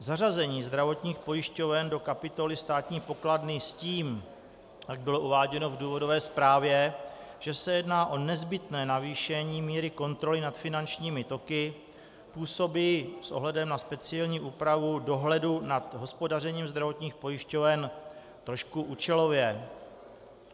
Zařazení zdravotních pojišťoven do kapitoly státní pokladny s tím, jak bylo uváděno v důvodové zprávě, že se jedná o nezbytné navýšení míry kontroly nad finančními toky, působí s ohledem na speciální úpravu dohledu nad hospodařením zdravotních pojišťoven trošku účelově.